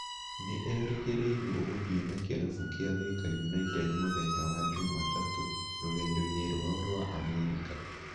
Nĩ erĩgĩrĩirwo gũthiĩ na kĩrabu kia Thika United mũthenya wa NJumatatũ rũgendo-inĩ rwao rwa Amerika.